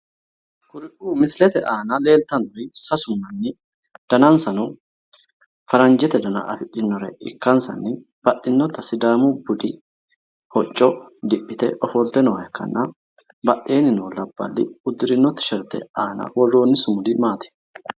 Kuriu misilete aana leeltannori sasu manni danansano faranjete dana afidhinore ikkansanni baxxinota sidaamu budi hocco diphite ofolte nooha ikkanna badheeni noo labballi udirino tisherte aana worroni sumudi maati?